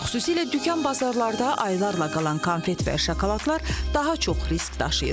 Xüsusilə dükan bazarlarda aylarla qalan konfet və şokoladlar daha çox risk daşıyır.